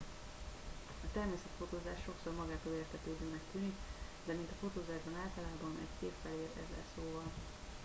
a természetfotózás sokszor magától értetődőnek tűnik de mint a fotózásban általában egy kép felér ezer szóval